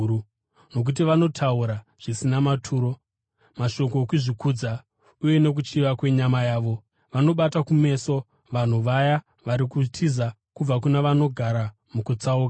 Nokuti vanotaura zvisina maturo, mashoko okuzvikudza, uye nokuchiva kwenyama yavo, vanobata kumeso vanhu vaya vari kutiza kubva kuna vanogara mukutsauka.